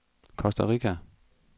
Costa Rica